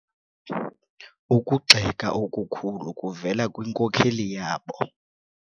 Ukugxeka okukhulu kuvele kwinkokeli yabo.